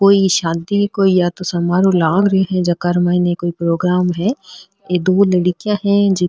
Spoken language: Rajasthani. कोई शान्ति कोई या तोह समाहरो लाग रेहा है जेकार मइनी कोई प्रोग्राम है दो लड़किया है जे --